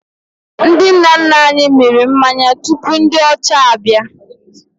Ndị nna nna anyị mịrị mmanya tupu ndị ọcha abịa